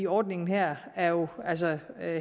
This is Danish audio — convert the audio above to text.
ordningen her er jo altså